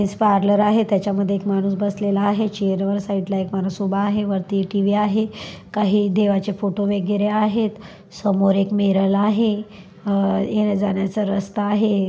'' Men's parlour आहे त्याच्यामध्ये एक माणूस बसलेला आहे चैअर वर साइड ला एक माणूस उभा आहे वरती टी_व्ही आहे काही देवाचे फोटो वगेरे आहेत समोर एक मिरर आहे अह येण्या जाण्याचा रस्ता आहे. ''